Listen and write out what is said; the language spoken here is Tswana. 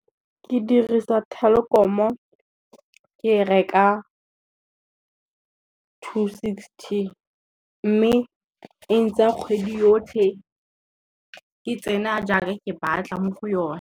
Ke dirisa Telkom-o, ke reka two sixty mme e ntsaa kgwedi yotlhe, ke tsena ja ge ke batla mo go yone.